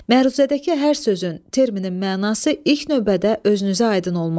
Məruzədəki hər sözün, terminin mənası ilk növbədə özünüzə aydın olmalıdır.